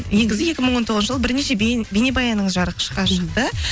негізі екі мың он тоғызыншы жылы бірнеше бейнебаяныңыз жарыққа шықты